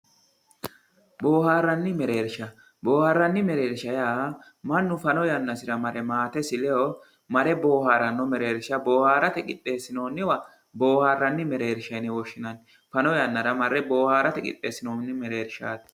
booharanni mereersha booharanni mereersha yaa mannu fano yanasira mare maatesi leyoo mare boohaaranno mereersha bohaarate qidheesinoonniwa booharanni mereersha yine woshshinanni fano yannara marre boohaarate qidheesinonni mereershaati.